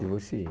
Divorciei.